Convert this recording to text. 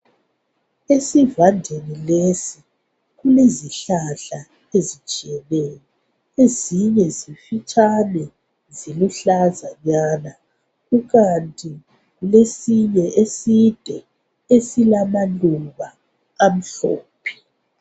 Esivandeni lesi kulezihlahla ezitshiyeneyo ezinye zimfitshane ziluhlazanyana kukanti kulesinye eside esilamaluba amhlophe.